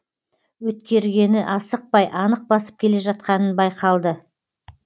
өткергені асықпай анық басып келе жатқанынан байқалды